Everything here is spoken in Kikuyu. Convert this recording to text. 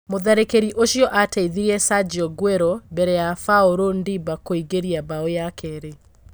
Mũtharĩkĩri ũcio ateithĩrĩirie Sajio Nguero mbere ya Baũrũ Ndĩmba kũingĩria mbao ya kerĩ.